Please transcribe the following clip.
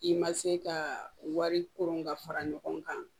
I ma se ka wari koron ka fara ɲɔgɔn kan